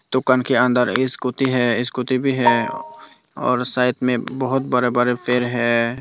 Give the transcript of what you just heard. दुकान के अंदर एक स्कूटी है स्कूटी भी है और साइड में बहुत बड़े बड़े पेड़ है।